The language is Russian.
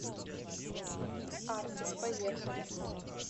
артис поехали